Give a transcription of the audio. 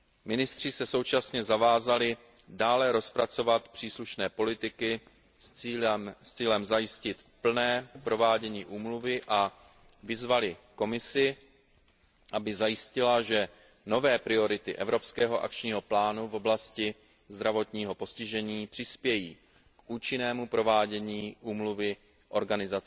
Ministři se současně zavázali dále rozpracovat příslušné politiky s cílem zajistit plné provádění úmluvy a vyzvali Komisi, aby zajistila, že nové priority evropského akčního plánu v oblasti zdravotního postižení přispějí k účinnému provádění úmluvy OSN.